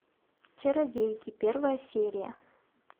чародейки первая серия